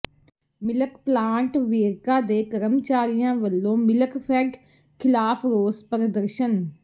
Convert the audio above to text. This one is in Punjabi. ਮਿਲਕ ਪਲਾਂਟ ਵੇਰਕਾ ਦੇ ਕਰਮਚਾਰੀਆਂ ਵਲੋਂ ਮਿਲਕਫੈਡ ਿਖ਼ਲਾਫ਼ ਰੋਸ ਪ੍ਰਦਰਸ਼ਨ